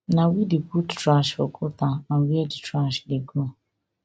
na we dey put trash for gutter and wia di trash dey go